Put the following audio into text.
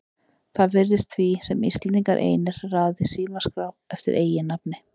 Það virðist því sem Íslendingar einir raði í símaskrá eftir eiginnafni.